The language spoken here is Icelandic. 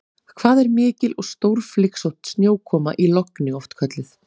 Hvað er mikil og stórflygsótt snjókoma í logni oft kölluð?